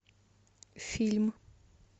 фильм